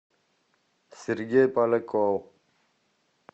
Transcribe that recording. сергей поляков